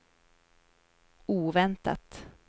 oväntat